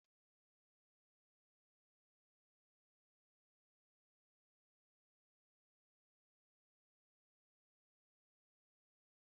N'ọbá akwụkwọ ahụ, ahụrụ m otu akụkọ anụmanụ mara mma nke nwere oke na nnụnụ na-ekwu okwu